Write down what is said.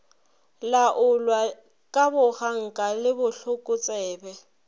laolwa ka boganka le bohlokotsebe